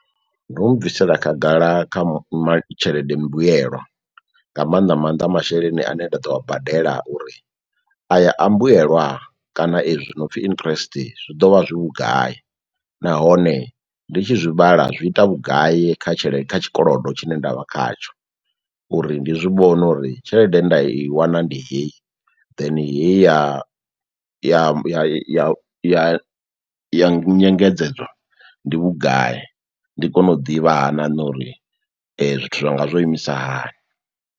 Ndo mu bvisela khagala kha tshelede mbuyelwa nga maanḓa maanḓa masheleni ane nda ḓo a badela uri aya a mbuyelwa kana ezwi no pfi interest zwi ḓo vha zwi vhugai, nahone ndi tshi zwi vhala zwi ita vhugai kha tshelede kha tshikolodo tshine ndavha khatsho uri ndi zwi vhone uri tshelede ye nda i wana ndi heyi then heyi ya ya ya ya nyengedzedzo ndi vhugai ndi kone u ḓivha ha na nṋe uri zwithu zwa nga zwo imisa hani.